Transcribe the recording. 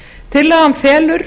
tillagan felur